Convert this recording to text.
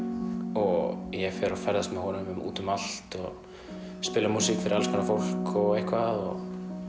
og ég fer og ferðast með honum út um allt og spila músík fyrir alls konar fólk og eitthvað og